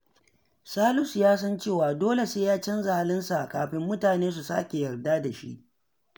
Salisu ya san cewa dole sai ya canza halinsa kafin mutane su sake yarda da shi.